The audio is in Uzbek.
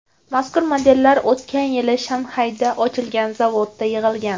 Mazkur modellar o‘tgan yili Shanxayda ochilgan zavodda yig‘ilgan.